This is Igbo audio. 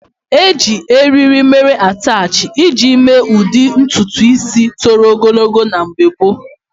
Eji eriri mere atachi iji mee ụdị ntutu ísí toro ogologo na mgbe gboo.